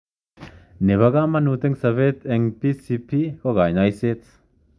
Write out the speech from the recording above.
Ne pa kamanut ing sopet ing PCP ko kanyoiset.